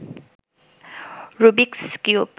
Rubik's cube